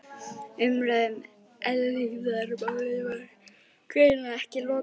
Umræðunni um eilífðarmálið var greinilega ekki lokið.